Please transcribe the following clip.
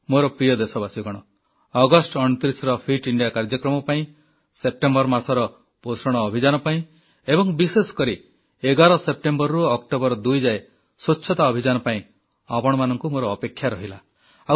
ମୋର ପ୍ରିୟ ଦେଶବାସୀଗଣ ଅଗଷ୍ଟ 29ର ଫିଟ୍ ଇଣ୍ଡିଆ କାର୍ଯ୍ୟକ୍ରମ ପାଇଁ ସେପ୍ଟେମ୍ବର ମାସର ପୋଷଣ ଅଭିଯାନ ପାଇଁ ଏବଂ ବିଶେଷକରି 11 ସେପ୍ଟେମ୍ବରରୁ ଅକ୍ଟୋବର 2 ଯାଏ ସ୍ୱଚ୍ଛତା ଅଭିଯାନ ପାଇଁ ଆପଣମାନଙ୍କୁ ମୋର ଅପେକ୍ଷା ରହିଲା